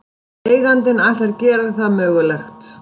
Eigandinn ætlar að gera það mögulegt